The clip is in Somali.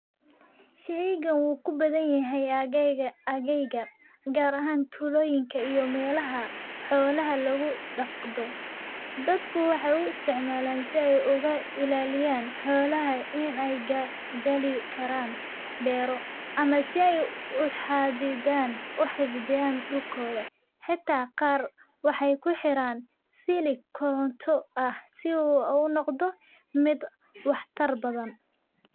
Sheygan uu ku bathanyahay aageyga gar ahan tuloyinka iyo melaha xolaha lagudaqdho. Dadku waxaay u isticmalan si ay uga ilaliyan xolaha in ay gali karan bero ama si ay uxadidhan uxifdhiyan dhulkotha , xita qar waxay kuxiran siliig koronto ah si u unoqdho mid wax tar bathan.